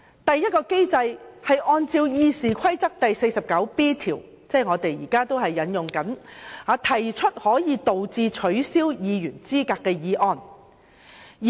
第一個機制是按照《議事規則》第 49B 條，即我們現正引用的規則，動議可以導致取消議員資格的議案。